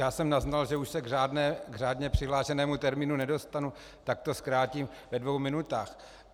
Já jsem naznal, že už se k řádně přihlášenému termínu nedostanu, tak to zkrátím ve dvou minutách.